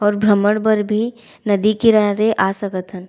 और भ्रमण बर भी नदी किनारे आ सकत हन।